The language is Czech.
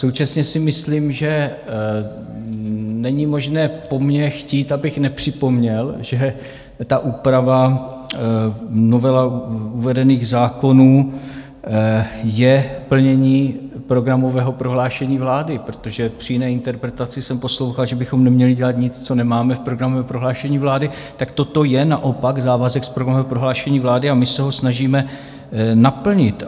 Současně si myslím, že není možné po mně chtít, abych nepřipomněl, že ta úprava, novela uvedených zákonů, je plnění programového prohlášení vlády, protože při jiné interpretaci jsem poslouchal, že bychom neměli dělat nic, co nemáme v programovém prohlášení vlády, tak toto je naopak závazek z programového prohlášení vlády a my se ho snažíme naplnit.